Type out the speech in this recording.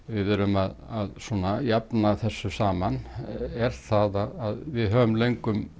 við erum að jafna þessu saman er það að við höfum löngum